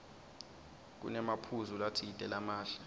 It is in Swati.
kunemaphuzu latsite lamahle